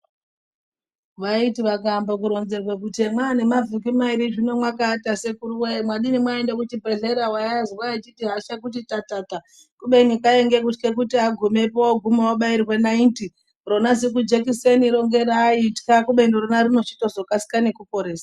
Vaiti vakaembe kuronzerwa kuti mwaane mavhiki mairi zvino mwakaata sekuru wee mwadini mwaende kuchibhedhlera waiazwa eiti hasha tatata kubeni kwainge kutye kuti agumepo oguma obairwe naiti rona zikujekiseni ro ngeraaitka kubeni rona rinochizotokasika nekuporesa.